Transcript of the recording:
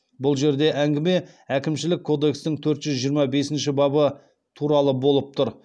бұл жерде әңгіме әкімшілік кодекстің төрт жүз жиырма бесінші бабы туралы болып тұр